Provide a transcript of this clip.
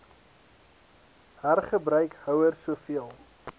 hergebruik houers soveel